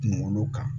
Kunkolo kan